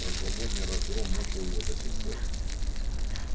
прошлогодний разгром мучил его до сих пор